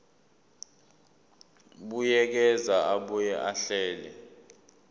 buyekeza abuye ahlele